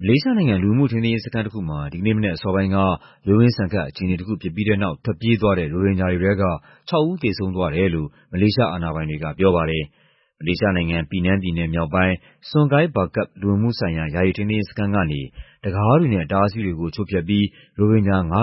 မလေးရှားနိုင်ငံ၊ လူဝင်မှုထိန်းသိမ်းရေးစခန်းတခုမှာ ဒီကနေ့မနက်အစောပိုင်းက ရုန်းရင်းဆန်ခတ် အခြေအနေတခုဖြစ်ပြီးတဲ့နောက် ထွက်ပြေးသွားတဲ့ ရိုဟင်ဂျာတွေထဲက ၆ ဦး သေဆုံးသွားတယ်လို့ မလေးရှားအာဏာပိုင်တွေက ပြောပါတယ်။ မလေးရှားနိုင်ငံ၊ ပီနန်းပြည်နယ်မြောက်ပိုင်း၊ Sungai Bakap လူဝင်မှုဆိုင်ရာ ယာယီ ထိန်းသိမ်းရေးစခန်းကနေ တံခါးတွေနဲ့ အတားအဆီးတွေကို ချိုးဖျက်ပြီး ရိုဟင်ဂျာ ၅၈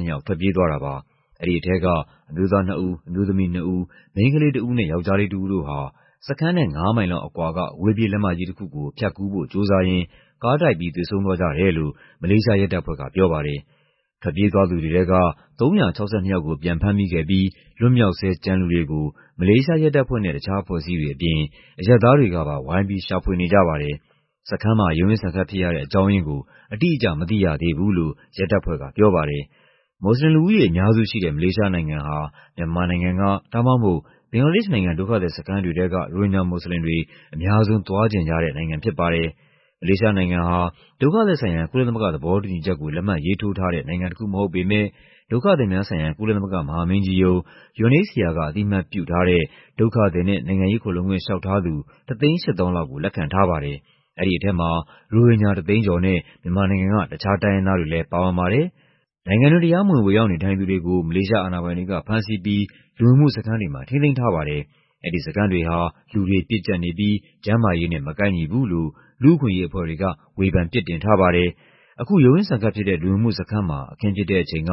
၂ ယောက် ထွက်ပြေးသွားတာပါ။ အဲဒီထဲက အမျိုးသားနှစ်ဦး၊ အမျိုးသမီးနှစ်ဦး၊ မိန်းကလေးတဦးနဲ့ ယောက်ျားလေးတဦးတို့ဟာ စခန်းနဲ့ ၅ မိုင်လောက်အကွာက အဝေးပြေးလမ်းမကြီးတခုကို ဖြတ်ကူးဖို့ကြိုးစားရင်း ကားတိုက်ပြီး သေဆုံးသွားကြတယ်လို့ မလေးရှားရဲတပ်ဖွဲ့က ပြောပါတယ်။ ထွက်ပြေးသွားသူတွေထဲက ၃၆၂ ယောက်ကို ပြန်ဖမ်းမိခဲ့ပြီး လွတ်မြောက်ဆဲ ကျန်လူတွေကို မလေးရှားရဲတပ်ဖွဲ့နဲ့ တခြားအဖွဲ့အစည်းတွေအပြင် အရပ်သားတွေကပါ ဝိုင်းပြီး ရှာဖွေနေကြပါတယ်။ စခန်းမှာ ရုန်းရင်းဆန်ခတ်ဖြစ်ရတဲ့ အကြောင်းရင်းကို အတိအကျ မသိရသေးဘူးလို့ ရဲတပ်ဖွဲ့ကပြောပါတယ်။ မွတ်ဆလင်လူဦးရေ အများစုရှိတဲ့ မလေးရှားနိုင်ငံဟာ မြန်မာနိုင်ငံက ဒါမှမဟုတ် ဘင်္ဂလားဒေ့ရှ်နိုင်ငံ ဒုက္ခသည်စခန်းတွေထဲက ရိုဟင်ဂျာမွတ်ဆလင်တွေ အများဆုံးသွားချင်ကြတဲ့ နိုင်ငံဖြစ်ပါတယ်။ မလေးရှားနိုင်ငံဟာ ဒုက္ခသည်ဆိုင်ရာ ကုလသမဂ္ဂသဘောတူညီချက်ကို လက်မှတ်ရေးထိုးထားတဲ့ နိုင်ငံတခုမဟုတ်ပေမယ့် ဒုက္ခသည်များဆိုင်ရာ ကုလသမဂ္ဂမဟာမင်းကြီးရုံး (UNHCR) က အသိအမှတ်ပြုထားတဲ့ ဒုက္ခသည်နဲ့ နိုင်ငံရေးခိုလှုံခွင့်လေ ျှာက်ထားသူ ၁၈၀,၀၀၀ လောက်ကို လက်ခံထားပါတယ်။ အဲဒီထဲမှာ ရိုဟင်ဂျာ ၁၀၀,၀၀၀ ကျော်နဲ့ မြန်မာနိုင်ငံက တခြားတိုင်းရင်းသားတွေလည်း ပါဝင်ပါတယ်။ နိုင်ငံတွင်း တရားမဝင် ဝင်ရောက်နေထိုင်သူတွေကို မလေးရှားအာဏာပိုင်တွေက ဖမ်းဆီးပြီး လူဝင်မှုစခန်းတွေမှာ ထိန်းသိမ်းထားပါတယ်။ အဲဒီစခန်းတွေဟာ လူတွေပြည့်ကျပ်နေပြီး ကျန်းမာရေးနဲ့ မကိုက်ညီဘူးလို့ လူ့အခွင့်အရေးအဖွဲ့တွေက ဝေဖန်ပြစ်တင်ထားပါတယ်။ အခု ရုန်းရင်းဆန်ခတ်ဖြစ်တဲ့ လူဝင်မှုစခန်းမှာ အခင်းဖြစ်တဲ့အချိန်က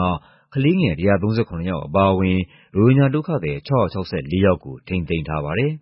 ကလေးငယ် ၁၃၇ ယောက် အပါအဝင် ရိုဟင်ဂျာဒုက္ခသည် ၆၆၄ ယောက်ကို ထိန်းသိမ်းထားပါတယ်။